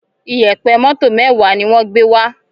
Iyẹ̀pẹ̀ moto mẹwa ní wón gbé wá